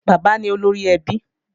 Bàbá ní olórí ẹbí